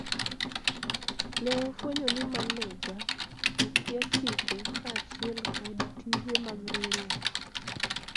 ne wafwenyo ni maneja okia chike kaachiel kod tije mag riwruok